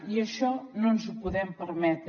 i això no ens ho podem permetre